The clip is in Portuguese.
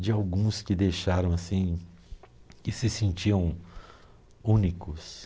de alguns que deixaram assim, que se sentiam únicos.